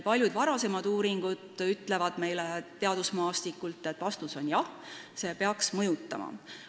Paljud varasemad uurimused teadusmaastikult ütlevad meile, et vastus on jah, see peaks mõjutama.